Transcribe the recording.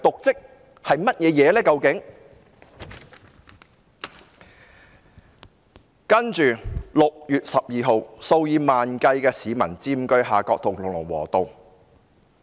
接着 ，6 月12日，數以萬計市民佔據夏愨道和龍和道。